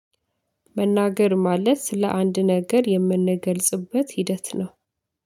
መናገር ማለት ስለ አንድ ነገር የምንገልጽበት ሂደት ነው